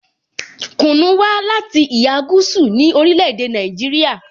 Kunu wa lati iha gúúsù ni orile-ede Naijiria.